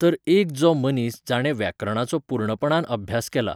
तर एक जो मनीस जाणें व्याकरणाचो पूर्णपणान अभ्यास केला